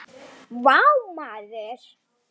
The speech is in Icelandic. Vá maður!